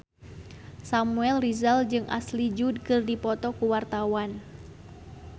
Samuel Rizal jeung Ashley Judd keur dipoto ku wartawan